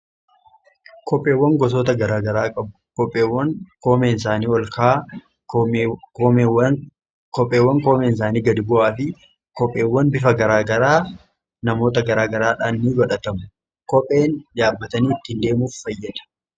Kopheewwan gosoota garaa garaa kopheewwan koomeen isaanii olka'aa, kopheewwan koomeen isaanii gad bu'aa fi kopheewwan bifa garaa garaa namoota garaa garaadhaan ni godhatamu. Kopheen jabaatanii ittiin deemuuf fayyada.